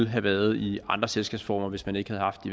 have været i andre selskabsformer hvis man ikke havde haft